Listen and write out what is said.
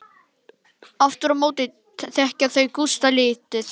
Aftur á móti þekkja þau Gústa lítið.